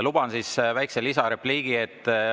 Luban endale väikese lisarepliigi.